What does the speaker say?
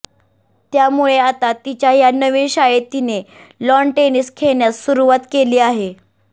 त्यामुळे आता तिच्या ह्या नवीन शाळेत तिने लॉन टेनिस खेळण्यास सुरवात केली आहे